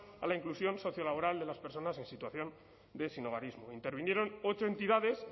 a la inclusión sociolaboral de las personas en situación de sinhogarismo intervinieron ocho entidades